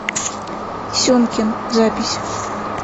семкин запись